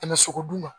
Tɛmɛ sogo dun